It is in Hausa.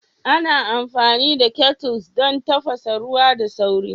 Ana amfani da kettles don tafasa ruwa da sauri